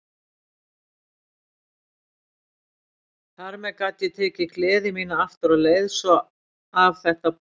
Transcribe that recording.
Þar með gat ég tekið gleði mína aftur og leið svo af þetta boð.